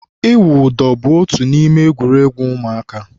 ịwụ ụdọ bu otu n'ime egwuregwu ụmụaka.